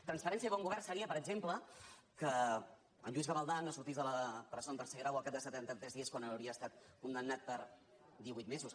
transparència i bon govern se·rien per exemple que el lluís gavaldà no sortís de la presó en tercer grau al cap de setanta·tres dies quan havia estat condemnat per divuit mesos